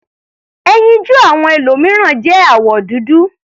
Ẹyinjú àwọn ẹlòmìíràn jẹ́ àwọ̀ dúdú.